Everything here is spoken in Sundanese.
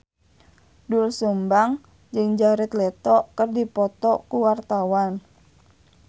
Doel Sumbang jeung Jared Leto keur dipoto ku wartawan